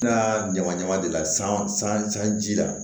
N'a ɲama ɲama de la san ji la